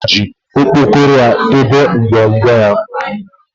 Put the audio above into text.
Chima ji okpokoro ya debe ngwongwo ya